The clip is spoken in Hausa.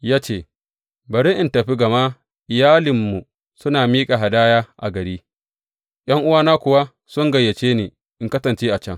Ya ce, Bari in tafi gama iyalinmu suna miƙa hadaya a gari, ’yan’uwana kuwa sun gayyace ni in kasance a can.